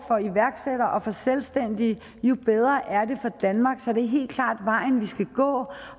for iværksættere og for selvstændige jo bedre er det for danmark så det er helt klart vejen vi skal gå